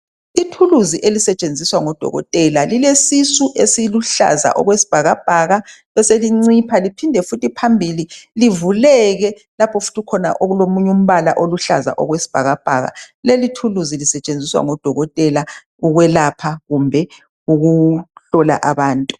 Ithuluzi elisetshenziswa ngodokotela lilesisu esiluhlaza okwesibhakabhaka beselincipha liphinde futhi phambili livuleke lapho futhi ukhona umbala oluhlaza okwesibhakabhaka leli thuluzi lisetshenziswa ngodokotela ukwelapha kumbe ukuhlola abantu